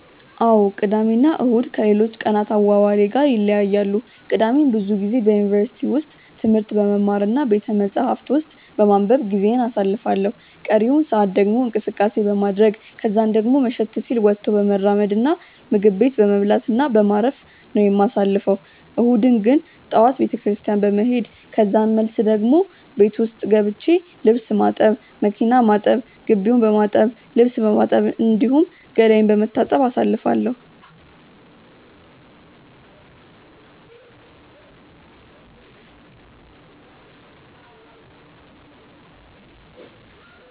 አዎ ቅዳሜ እና እሁድ ከሌሎች ቀናት አዋዋሌ ጋር ይለያያሉ። ቅዳሜን ብዙ ጊዜ በዩኒቨርሲቲ ውስጥ ትምህርት በመማር እና ቤተመጻሕፍት ውስጥ በማንበብ ጊዜዬን አሳልፋለሁ ቀሪውን ሰአት ደግሞ እንቅስቀሴ በማድረረግ ከዛን ደሞ መሸት ሲል ወጥቶ በመራመድ እና ምግብ ቤት በመብላት እና በማረፍ በማረፍ ነው የማሳልፈው። እሁድን ግን ጠዋት ቤተክርስትያን በመሄድ ከዛን መልስ ደሞ ቤት ገብቼ ልብስ ማጠብ፣ መኪና ማጠብ፣ ግቢውን በማጠብ፣ ልብስ በማጠብ፣ እንዲሁም ገላዬን በመታጠብ አሳልፋለሁ።